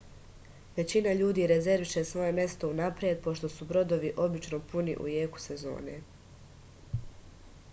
већина људи резервише своје место унапред пошто су бродови обично пуни у јеку сезоне